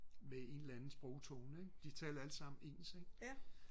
med en eller anden sprogtone ikke de talte alle sammen ens ikke